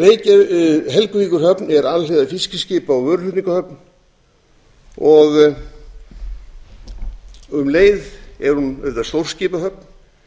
helguvíkurhöfn er alhliða fiskiskipa og vöruflutningahöfn og um leið er hún auðvitað stórskipahöfn